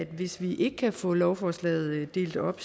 hvis vi ikke kan få lovforslaget delt op